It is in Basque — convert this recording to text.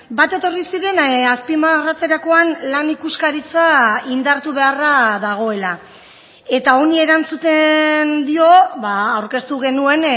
bat etorri ziren azpimarratzerakoan lan ikuskaritza indartu beharra dagoela eta honi erantzuten dio aurkeztu genuen